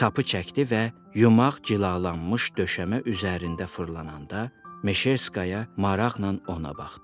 Sapı çəkdi və yumak cilalanmış döşəmə üzərində fırlananda Meşerskaya maraqla ona baxdı.